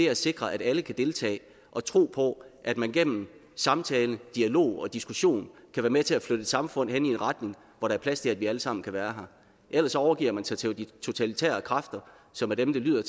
at sikre at alle kan deltage og tro på at man gennem samtale dialog og diskussion kan være med til at flytte et samfund hen i en retning hvor der er plads til at vi alle sammen kan være her ellers overgiver man sig til de totalitære kræfter som er dem det lyder